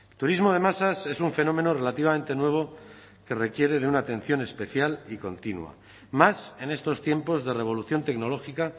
turismo de masas es un fenómeno relativamente nuevo que requiere de una atención especial y continua más en estos tiempos de revolución tecnológica